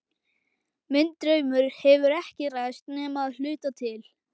Minn draumur hefur ekki ræst nema að hluta til.